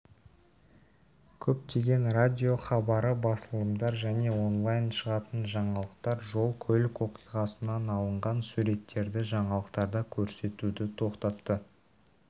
көптеген радио хабары басылымдар және онлайн шығатын жаңалықтар жол көлік оқиғасынан алынған суреттерді жаңалықтарда көрсетуді тоқтатты